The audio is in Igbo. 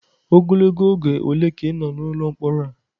Ogologo oge ole ka ị nọ n'ụlọ mkpọrọ a?